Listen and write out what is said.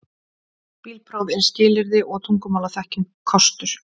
Bílpróf er skilyrði og tungumálaþekking kostur